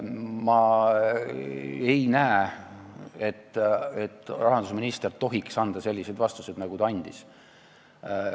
Ma ei näe, et rahandusminister tohiks anda selliseid vastuseid, nagu ta on andnud.